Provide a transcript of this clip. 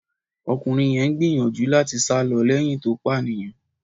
Ọkùnrin yẹn ń gbìyànjú láti sá lọ lẹ́yìn tó pànìyàn.